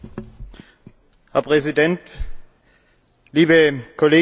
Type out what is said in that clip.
Herr Präsident, liebe Kolleginnen und Kollegen!